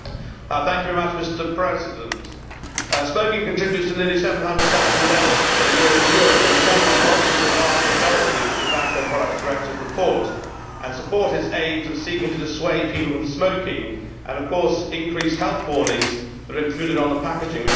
Mr President, smoking contributes to nearly 700000 deaths a year in Europe and of course I welcome the vast majority of the Tobacco Products Directive report and support its aims in seeking to dissuade people from smoking. Increased health warnings are included on the packaging, which is a good thing.